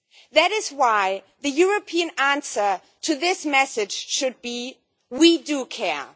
That is why the European answer to this message should be we do care